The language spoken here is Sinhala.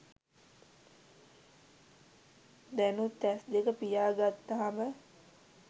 දැනුත් ඇස් දෙක පියා ගත්තහම